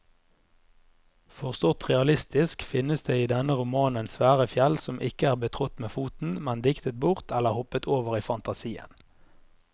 Forstått realistisk finnes det i denne romanen svære fjell som ikke er betrådt med foten, men diktet bort eller hoppet over i fantasien.